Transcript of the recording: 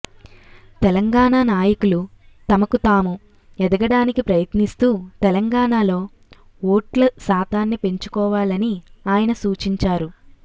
తెలంగాణ నాయకులు తమకు తాము ఎదగడానికి ప్రయత్నిస్తూ తెలంగాణలో ఓట్ల శాతాన్ని పెంచుకోవాలని ఆయన సూచించారు